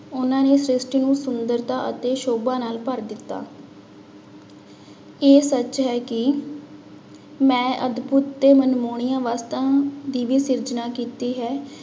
ਉਹਨਾਂ ਨੇ ਸ੍ਰਿਸ਼ਟੀ ਨੂੰ ਸੁੰਦਰਤਾ ਅਤੇ ਸੋਭਾ ਨਾਲ ਭਰ ਦਿੱਤਾ ਇਹ ਸੱਚ ਹੈ ਕਿ ਮੈਂ ਅਦਬੁਤ ਤੇ ਮਨਮੋਹਣੀਆਂ ਵਸਤਾਂ ਦੀ ਵੀ ਸਿਰਜਣਾਂ ਕੀਤੀ ਹੈ।